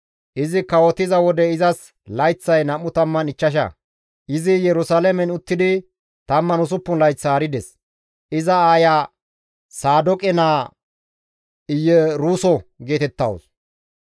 Izi kawotiza wode izas layththay 25; izi Yerusalaamen uttidi 16 layth haarides. Iza aaya Saadooqe naa Iyeruso geetettawus.